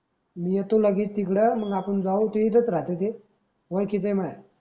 मी येतो लगेच तिकड मंग आपण जाऊ इथंच राहते ते ओळखिच आहे माया.